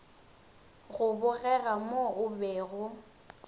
go bogega mo o bego